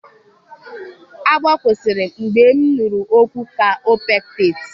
Agbọ kwụsịrị mgbe m inuru ọgwụ kaopectate